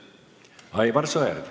Aivar Sõerd.